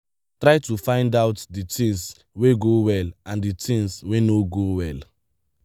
try to find out di things wey go well and di things wey no go well